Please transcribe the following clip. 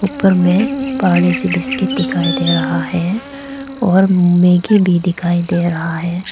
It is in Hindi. ऊपर में बड़ा सा पार्ले जी बिस्किट दिखाई दे रहा हैं और मैगी भी दिखाई दे रहा है।